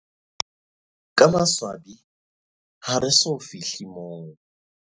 Ka maswabi, ha re so fi hle moo.